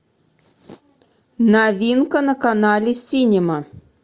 новинка на канале синема